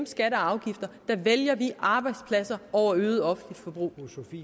skatter og afgifter der vælger vi arbejdspladser over et øget offentligt forbrug